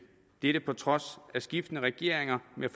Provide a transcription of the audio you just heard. dette på trods af skiftende regeringer med